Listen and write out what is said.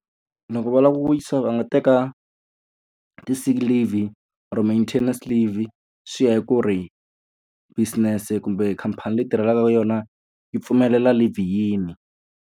Loko va lava ku wisa va nga teka ti-sick leave-i or-o maintenance leave-i. Swi ya hi ku ri business-e kumbe khampani leyi u tirhelaka ka yona yi pfumelela leave-i yini.